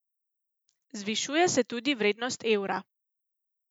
Zvišuje se tudi vrednost evra.